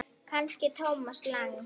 Kannski Thomas Lang?